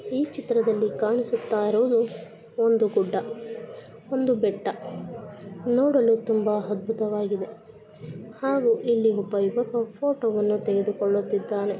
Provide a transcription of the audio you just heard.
ಈ ಚಿತ್ರದಲ್ಲಿ ಕಾಣಿಸ್ತಾ ಇರೋದು ಒಂದು ಗುಡ್ಡ ಒಂದು ಬೆಟ್ಟ ನೋಡಲು ತುಂಬಾ ಅದ್ಭುತವಾಗಿದೆ ನೋಡಲು ತುಂಬಾ ಅದ್ಭುತವಾಗಿದೆ ಹಾಗೆ ಇಲ್ಲಿ ಒಬ್ಬ ಯುವಕ ಫೋಟೋ ಅನ್ನ ತೆಗೆದುಕೊಳ್ಳುತ್ತಿದ್ದಾನೆ.